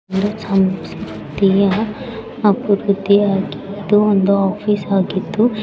ಇದು ಸಂಸ್ಕ್ರತಿಯ ಅಭಿವ್ರದ್ದಿಯಾಗಿದ್ದು ಒಂದು ಆಫೀಸ್ ಆಗಿದ್ದು--